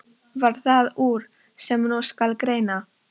Varð það úr, sem nú skal greina.